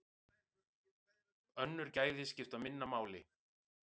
Önnur gæði skipta minna máli.